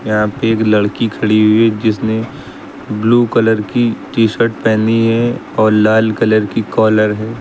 यहा पे एक लड़की खड़ी हुई है जिसने ब्लू कलर की टी शर्ट पेहनी है और लाल कलर की कॉलर है।